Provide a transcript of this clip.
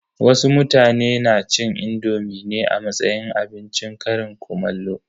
Wasu mutane na cin indomi ne a matsayin abincin ƙarin kumallo.